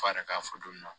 F'a yɛrɛ ka fɔ don dɔ